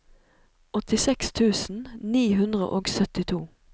åttiseks tusen ni hundre og syttito